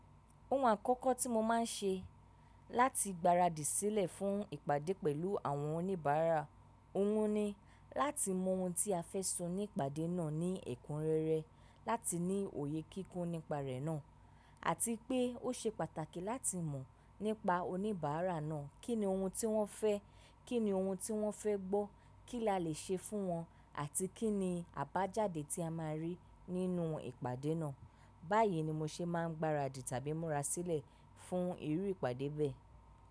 Ohun àkọ́kọ́ tí mo máa ń ṣe láti gbaradì sílẹ̀ fún ìpàdé pẹ̀lú àwọn oníbàárà, òhun ni láti mọ ohun tí a fẹ́ sọ ní ìpàdé náà ní ẹ̀kúnrẹ́rẹ́, láti ní òye kíkún nípa rẹ̀ náà àti pé ó ṣe pàtàkì láti mọ̀ nípa oníbàárà náà. Kí ni ohun tí wọ́n fẹ́? Kí ni ohun tí wọ́n fẹ́ gbọ́? Kí la le ṣe fún wọn? Àti kí ni àbájáde tí a máa rí nínú ìpàdé náà? Báyìí ni mo ṣe máa ń gbaradì tàbí múra sílẹ̀ fún irú ìpàdé bẹ́ẹ̀.